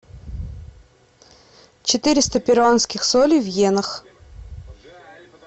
четыреста перуанских солей в йенах